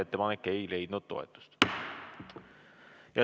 Ettepanek ei leidnud toetust.